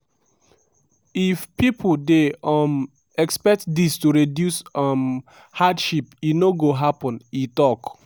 if pipo dey um expect dis to reduce um hardship e no go happen" e tok.